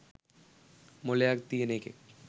මොලයක් තියෙන එකෙක්